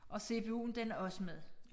Og cpu'en den er også med